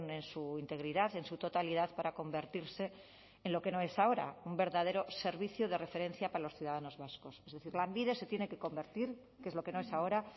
en su integridad en su totalidad para convertirse en lo que no es ahora un verdadero servicio de referencia para los ciudadanos vascos es decir lanbide se tiene que convertir que es lo que no es ahora